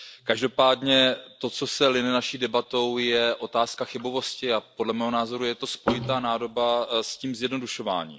Každopádně to, co se line naší debatou, je otázka chybovosti a podle mého názoru je to spojitá nádoba s tím zjednodušováním.